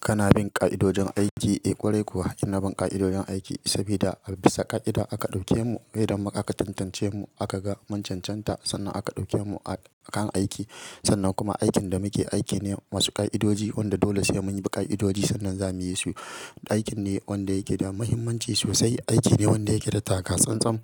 Kana bin ƙa'idojin aiki, eh ƙware kuwa inna bin ƙa'idodin aiki. Sabida bisa ƙa'ida aka ɗauke mu, saida ma aka tantance mu aka ga mun cancanta sannan aka ɗauke mu a kan aiki. Sannan kuma aikin da muke aiki ne masu ƙa'idoji wanda dole sai mun bi ƙa'idoji sannan zamu yisu. Aikin ne wanda yake da muhimmanci sosai, aiki ne wanda yake da takatsan-tsam.